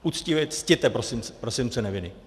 Uctivě ctěte presumpci neviny.